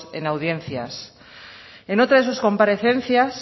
en audiencias en otra de sus comparecencias